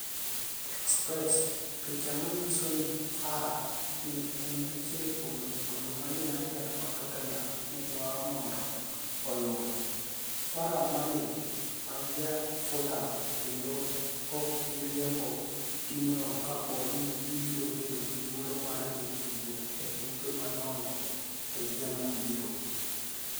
(Express) Picha maniyiso nii Farah ni e eni achiel kuom jotugo ma Uniited kod Totteniham ni e dwaro monido oyud Farah Maalim ma ja Fulham kenido ok bi riembo timno kapo nii gibiro bedo gi thuolo mar dhi tugo e tuke madonigo e higa mabiro